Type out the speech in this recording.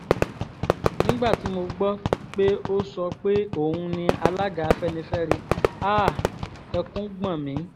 nígbà tí mo gbọ́ pé ó sọ pé òun ni alága afẹ́nifẹ́re háà ẹkún gbọ́n mi